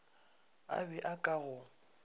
a be a ka go